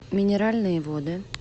минеральные воды